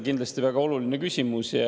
Kindlasti väga oluline küsimus.